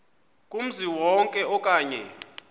kumzi wonke okanye